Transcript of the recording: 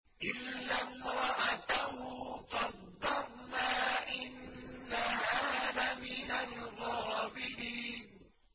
إِلَّا امْرَأَتَهُ قَدَّرْنَا ۙ إِنَّهَا لَمِنَ الْغَابِرِينَ